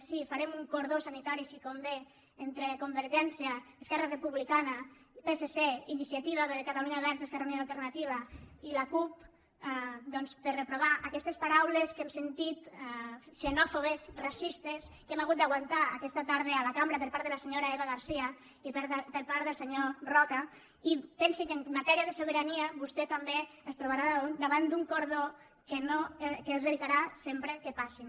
sí farem un cordó sanitari si convé entre convergència esquerra republicana psc iniciativa per catalunya verds esquerra unida i alternativa i la cup doncs per reprovar aquestes paraules que hem sentit xenòfobes racistes que hem hagut d’aguantar aquesta tarda a la cambra per part de la senyora eva garcía i per part del senyor roca i pensi que en matèria de sobirania vostè també es trobarà davant d’un cordó que els evitarà sempre que passin